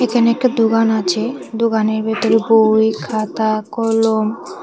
এখানে একটা দোকান আছে দোকানের ভেতরে বই খাতা কলম।